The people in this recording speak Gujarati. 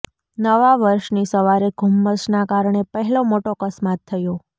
નવા વર્ષની સવારે ધુમ્મસના કારણે પહેલો મોટો અકસ્માત થયો